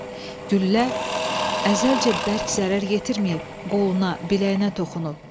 Hə, güllə əzəlcə bərk zərər yetirməyib, qoluna, biləyinə toxunub.